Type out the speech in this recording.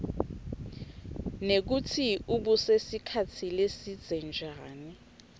nekutsi ubuse sikhatsi lesibze njani